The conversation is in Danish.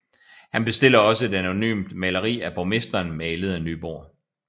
Han bestiller også et anonymt maleri af borgmesteren malet af Nyborg